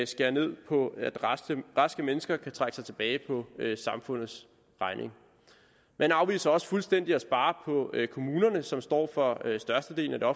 skære ned på at raske mennesker kan trække sig tilbage på samfundets regning man afviser også fuldstændig at spare på kommunerne som står for størstedelen af